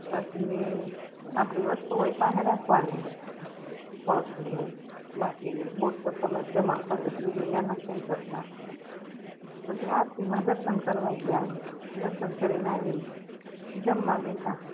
પછી આપડી વસ્તુઓ પાહે રાખવા ની પર્સ ને એવુ બાકી બુટ ચપ્પલ જ જમા કરે બીજુ યા નઈ કઈ કરતા પછી આરતી મા દર્શન કરવા ગયા દર્શન કરી ને આવી ને જમવા બેઠા